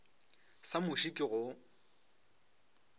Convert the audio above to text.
sa muši ke go o